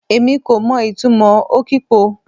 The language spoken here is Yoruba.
Èmi kò mo ìtumò okpo o